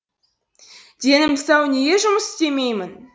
денім сау неге жұмыс істемеймін